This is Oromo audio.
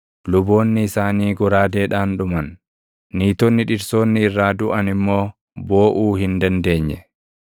luboonni isaanii goraadeedhaan dhuman; niitonni dhirsoonni irraa duʼan immoo booʼuu hin dandeenye.